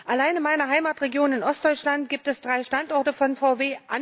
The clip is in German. Allein in meiner Heimatregion in Ostdeutschland gibt es drei Standorte von VW.